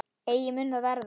Eigi mun það verða.